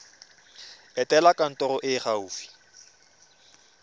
etela kantoro e e gaufi